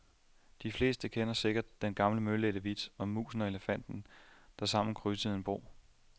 De fleste kender sikkert den gamle mølædte vits om musen og elefanten, der sammen krydsede en bro.